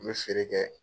N bɛ feere kɛ